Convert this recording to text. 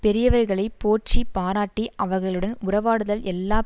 பெரியவர்களை போற்றி பாராட்டி அவர்களுடன் உறவாடுதல் எல்லா